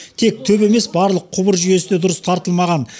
тек төбе емес барлық құбыр жүйесі де дұрыс тартылмаған